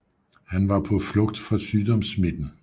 Han var på flugt fra sygdomssmitten